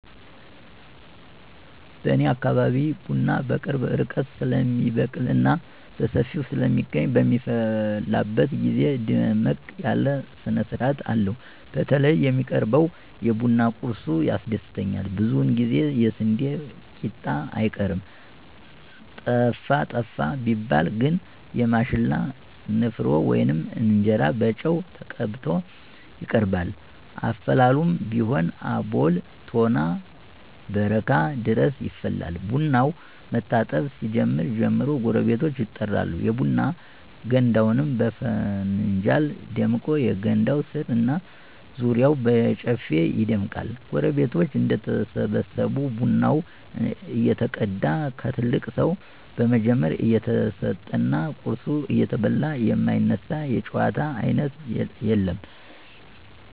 በኔ አካባቢ ቡና በቅርብ ርቀት ስለሚበቅልና በሰፊው ስለሚገኝ በሚፈላበት ግዜ ደመቅ ያለ ስነስርአት አለው። በተለይ የሚቀርበው የቡና ቁርሱ ያስደስተኛል ብዙውን ጊዜ የስንዴ ቂጣ አይቀርም። ጠፋ ጠፋ ቢባል ግን የማሽላ ንፍሮ ወይም እንጀራ በጨው ተቀብቶ ይቀርባል። አፈላሉም ቢሆን አቦል፣ ቶና፣ በረካ ድረስ ይፈላል። ቡናው መታጠብ ሲጀምር ጀምሮ ጎረቤቶች ይጠራሉ፤ የቡና ገንዳውም በፍንጃል ደምቆ የገንዳው ስር እና ዙሪያው በጨፌ ይደምቃል። ጎረቤቶች እንደተሰበሰቡ ቡናው እየተቀዳ ከትልቅ ሰው በመጀመር እየተሰጠና ቁርሱ እየተበላ የማይነሳ የጨዋታ አይነት የለም።